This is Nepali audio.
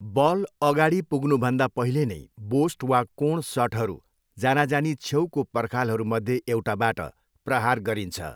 बल अगाडि पुग्नुभन्दा पहिले नै बोस्ट वा कोण सटहरू जानाजानी छेउको पर्खालहरूमध्ये एउटाबाट प्रहार गरिन्छ।